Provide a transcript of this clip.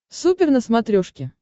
супер на смотрешке